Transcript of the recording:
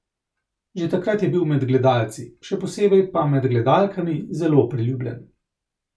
Že takrat je bil med gledalci, še posebej pa med gledalkami, zelo priljubljen.